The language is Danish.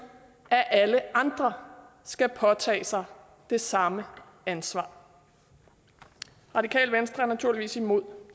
at alle andre skal påtage sig det samme ansvar radikale venstre er naturligvis imod